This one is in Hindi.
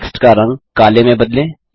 टेक्स्ट का रंग काले में बदलें